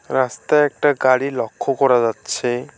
রাস্তায় একটা গাড়ি লক্ষ করা যাচ্ছে।